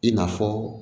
I n'a fɔ